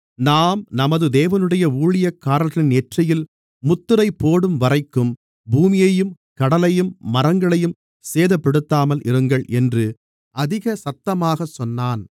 நாம் நமது தேவனுடைய ஊழியக்காரர்களின் நெற்றிகளில் முத்திரைப் போடும்வரைக்கும் பூமியையும் கடலையும் மரங்களையும் சேதப்படுத்தாமல் இருங்கள் என்று அதிக சத்தமாகச் சொன்னான்